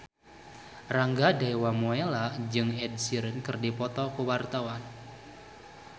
Rangga Dewamoela jeung Ed Sheeran keur dipoto ku wartawan